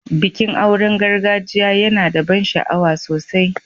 Bikin aure na gargajiya yana da ban sha'awa sosai.